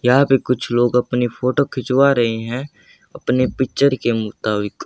यहां पे कुछ लोग अपनी फोटो खिंचवा रहे हैं अपने पिक्चर के मुताबिक।